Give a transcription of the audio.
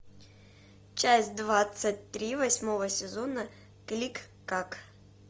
часть двадцать три восьмого сезона кликклак